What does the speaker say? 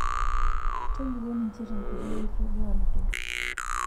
Tolikioi ninche tenkoitoi enkitoduaroto.